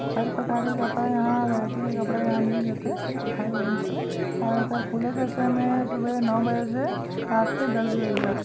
हर प्रकार के कपड़ा यहाँँ वैरायटी के कपड़ा यहाँँ मिल जाथे हर रेंज के और एखर खुले के समय सुबह नौ बजे से रात के दस बजे तक--